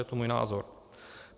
Je to můj názor.